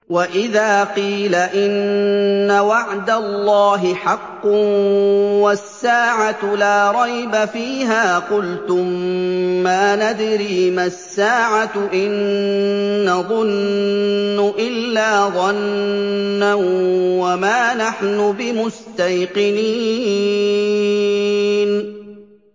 وَإِذَا قِيلَ إِنَّ وَعْدَ اللَّهِ حَقٌّ وَالسَّاعَةُ لَا رَيْبَ فِيهَا قُلْتُم مَّا نَدْرِي مَا السَّاعَةُ إِن نَّظُنُّ إِلَّا ظَنًّا وَمَا نَحْنُ بِمُسْتَيْقِنِينَ